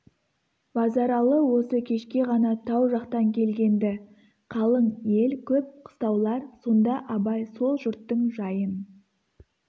базаралы осы кешке ғана тау жақтан келгенді қалың ел көп қыстаулар сонда абай сол жұрттың жайын